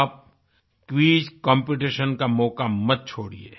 आप quiz competition का मौका मत छोड़िये